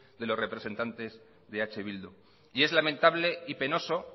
de los representantes de eh bildu y es lamentable y penoso